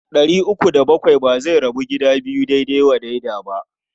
Ɗari uku da bakwai ba zai rabu gida biyu daidai wa daida ba.